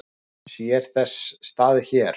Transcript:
Sér þess stað hér?